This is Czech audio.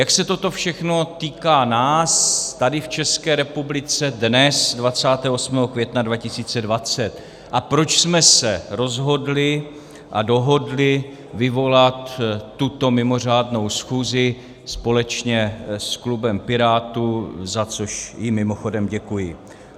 Jak se toto všechno týká nás tady v České republice, dnes, 28. května 2020, a proč jsme se rozhodli a dohodli vyvolat tuto mimořádnou schůzi společně s klubem Pirátů, za což jim mimochodem děkuji.